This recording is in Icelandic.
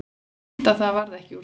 Fínt að það varð ekki úr því.